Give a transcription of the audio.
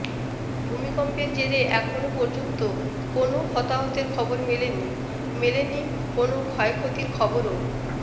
ভূমিকম্পের জেরে এখনও পর্যন্ত কোনও হতাহতের খবর মেলেনি মেলেনি কোনও ক্ষয়ক্ষতির খবরও